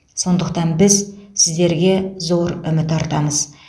сондықтан біз сіздерге зор үміт артамыз